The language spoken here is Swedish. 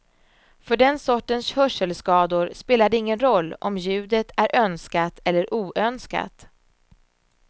För den sortens hörselskador spelar det ingen roll om ljudet är önskat eller oönskat.